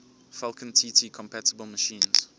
falcon tt compatible machines